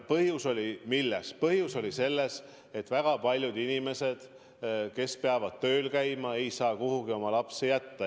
Ja põhjus oli selles, et väga paljud inimesed, kes peavad tööl käima, ei saa kuhugi oma lapsi jätta.